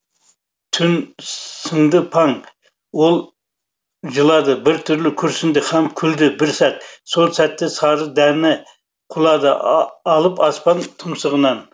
түн сыңды паң ол жылады бір түрлі күрсінді һәм күлді бір сәт сол сәтте сары дәні құлады алып аспан тұмсығынан